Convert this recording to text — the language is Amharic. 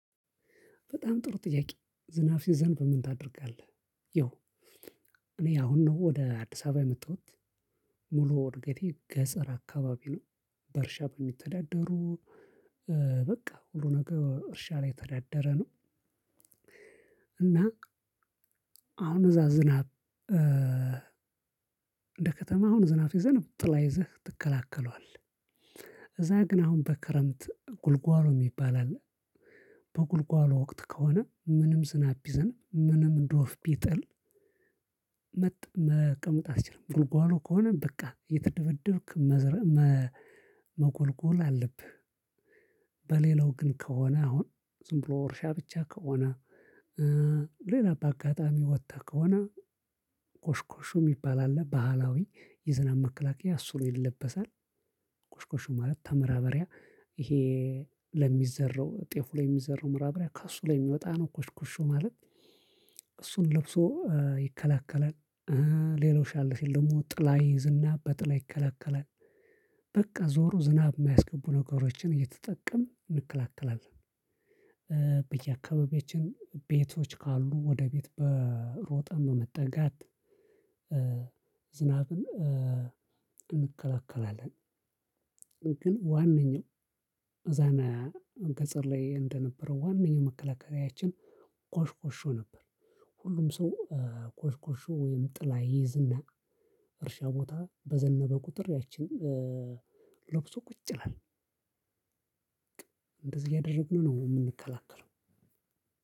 በጣም ጥሩ ጥያቄ ዝናብ ሲዘንብ ምን ታደርጋለህ? ያው እኔ አሁን ነው ወደ አዲስ አበባ የመጣሁት ሙሉ እድገቴ ገጽር አካባቢ ነው። በእርሻ በሚተዳደሩ በቃ ሁሉ ነገር እርሻ ላይ የተዳደረ ነው። እና አሁን እዛ ዝናብ እንደ ከተማ አሁን ዝናብ ሲዘንብ ጥላ ይዘህ ትከላከለዋለህ። እዛ ግን አሁን በክረምት ጉልጓሎ እሚባል አለ። በጉልጓሎ ወቅት ከሆነ ምንም ዝናብ ቢዘንብ ምንም ዶፍ ቢጥል። መቀ መቀመጥ አያስችልም ጉልጓሎ ከሆነ በቃ እየተደበደብክ መዝረም መጎልጎል አለብህ። በሌላው ግን ከሆነ አሁን ዝም ብሎ እርሻ ብቻ ከሆነ እ ሌላ በአጋጣሚ ወጠህ ከሆነ ኮሽኩሹ እሚባል አለ ባህላዊ የዝናብ መከላከያ እሱን ይለበሳል። ኮሽኩሹ ማለት ተማራበሪያ ይሄ ለሚዘራው ጤፍ ላይ እሚዘራው ማዳበሪያ ከእሱ ላይ የሚወጣ ነው። ኮሽኩሹ ማለት እሱን ለብሶ ይከላከላል። ሌላው ሻል ሲል ደሞ ጥላ ይይዝና በጥላ ይከለከላል። በቃ ዞሮ ዝናብ እማያስገቡ ነገሮችን እየተጠቀምን እንከላከላለን። በየአካባቢያችን ቤቶች ካሉ ወደ ቤት በሮጠን በመጠጋት ዝናብን እንከላከላለን። ግን ዋነኛው አዛና ከጽር ላይ እንደነበረው ዋነኛው መከላከያችን ኮሽኮሾ ነበር። ሁሉም ሰው ኮሽኮሾ ወይም ጥላ ይይዝና እርሻ ቦታ በዘነበ ቁጥር ያችን ሎብሶ ቁጭ ይላል። እንደዚህ እያደረግን ነው እምንከላከለው።